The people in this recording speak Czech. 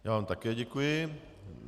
Já vám také děkuji.